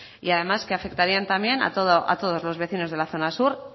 y además que afectarían también a todos los vecinos de la zona sur